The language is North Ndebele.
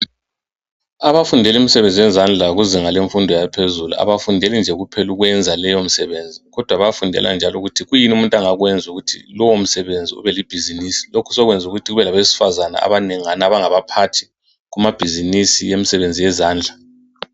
Abafundela imisebenzi yezandla ezifundweni zaphezulu abafundele nje kuphela ukufundela lowomsebenzi kodwa bayayafundela njalo ukuthi kuyini abangakwenza ukuthi lowo msebenzi ube libhizimusi lokho sokwenze ukuthi kube labesifazana abangabaphathi bama bhizimusi emsebenzi yezandla